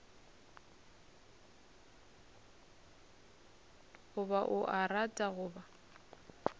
goba o a rata goba